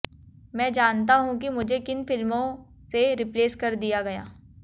मैं जानता हूं कि मुझे किन फिल्मों से रिप्लेस कर दिया गया